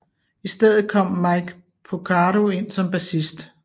I stedet kom Mike Porcaro ind som bassist